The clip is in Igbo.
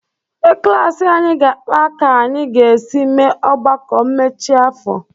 Ndị klaasị anyị ga-akpa ka anyị ga-esi mee ọgbakọ mmechi afọ.